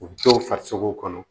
U dɔw farisogo kɔnɔ